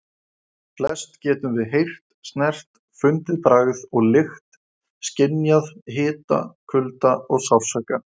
Flest getum við heyrt, snert, fundið bragð og lykt, skynjað hita, kulda og sársauka.